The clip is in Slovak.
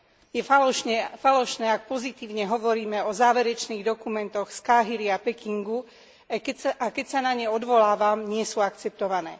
Je falošné, ak pozitívne hovoríme o záverečných dokumentoch z Káhiry a Pekingu a keď sa na ne odvolávam, nie sú akceptované.